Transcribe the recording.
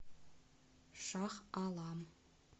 шах алам